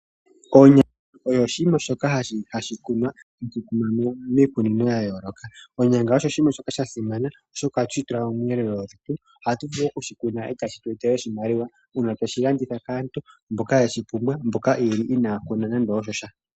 Onyanga oyo oshinima shoka hashi kunwa miikunino ya yooloka. Onyanga osho oshinima shoka sha simana oshoka ohatu shi tula miiyelelwa yetu . Ohatu vulu okushi kuna etashi tweetele oshimaliwa uuna tweshi landitha kaantu mboka yeshi pumbwa, mboka yeli inaaya kuna nando osha.